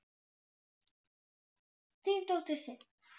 Þín dóttir, Sif.